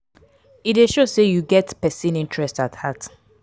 e de show say you get persin interest at heart